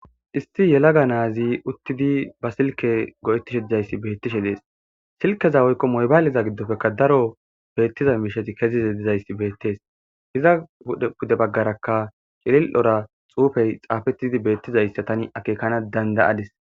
issi yelaga naazi uttidi ba silke go7ettishe didzayssi beettishe dees silkeza oykko moybaaliza giddofekka daro beettizan mishati keziza dizayssi beettees hiza dude baggarakka qilil7ora xuufey xaafetidi beettizayssa tani akeekana dandayadis